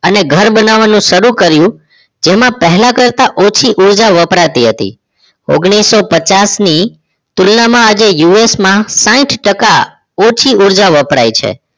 અને ઘર બનાવવાનું શરૂ કર્યું જેમાં પહેલા કરતા ઓછી ઊર્જા વપરાતી હતી ઓગ્નીશો પચાસ ની તુલનામાં આજે US માં સાહીંઠ ટકા ઓછી ઊર્જા વપરાય છે